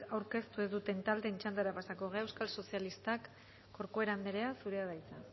aurkeztu dituzten taldeen txandara pasako gara euskal sozialistak corcuera anderea zurea da hitza